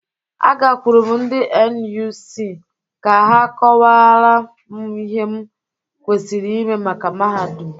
Agakwụru m ndị NUC ka ha kọwara m ihe m kwesiri ime maka mahadum.